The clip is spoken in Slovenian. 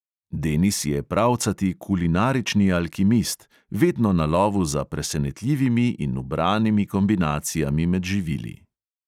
Denis je pravcati kulinarični alkimist, vedno na lovu za presenetljivimi in ubranimi kombinacijami med živili.